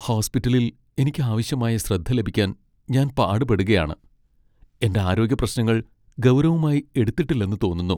ഹോസ്പിറ്റലിൽ എനിക്ക് ആവശ്യമായ ശ്രദ്ധ ലഭിക്കാൻ ഞാൻ പാടുപെടുകയാണ്, എന്റെ ആരോഗ്യപ്രശ്നങ്ങൾ ഗൗരവമായി എടുത്തിട്ടില്ലെന്ന് തോന്നുന്നു.